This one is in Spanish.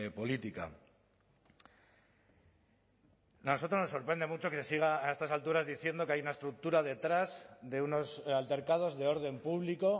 política a nosotros nos sorprende mucho que siga a estas alturas diciendo que hay una estructura detrás de unos altercados de orden público